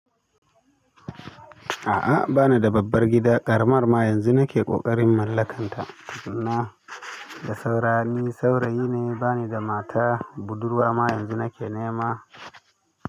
A'a bana da babbar gida, ƙaramar ma yanzu nake ƙoƙarin mallakanta, amma da saura ni saurayi ne bani da mata, budurwa ma yanzu nake nema.